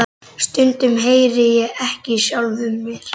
Stundum heyri ég ekki í sjálfum mér.